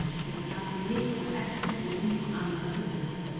Á vorin tekur hrafninn mikið af eggjum og ungum annarra fugla.